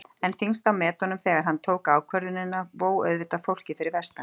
En þyngst á metunum þegar hann tók ákvörðunina vó auðvitað fólkið fyrir vestan.